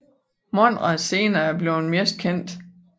Monrad senere er blevet mest kendte